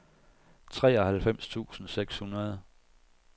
treoghalvfems tusind seks hundrede